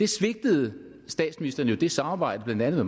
svigtede statsministeren jo det samarbejde blandt andet